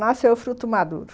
Nasceu fruto maduro.